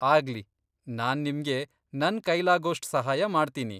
ಆಗ್ಲಿ, ನಾನ್ ನಿಮ್ಗೆ ನನ್ ಕೈಲಾಗೋಷ್ಟು ಸಹಾಯ ಮಾಡ್ತೀನಿ.